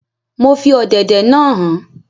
Mo fi ọ̀dẹ̀dẹ̀ naa han